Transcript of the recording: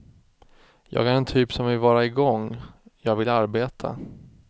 Jag är en typ som vill vara igång, jag vill arbeta.